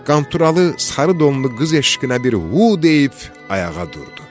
Qanturalı sarı donlu qız eşqinə bir hu deyib ayağa durdu.